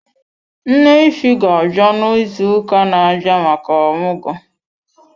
Nne ify ga abịa na ịzụ ụka na abịa maka omugo.